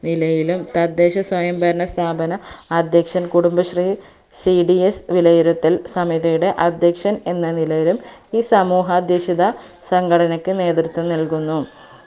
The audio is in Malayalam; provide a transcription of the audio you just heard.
നിലയിലും തദ്ദേശ സ്വയംഭരണ സ്ഥാപന അധ്യക്ഷൻ കുടുംബശ്രീ cds വിലയിരുത്തൽ സമിതിയുടെ അധ്യക്ഷൻ എന്ന നിലയിലും ഈ സമൂഹ അധ്യക്ഷിത സംഘടനക്ക് നേത്രത്വം നൽകുന്നു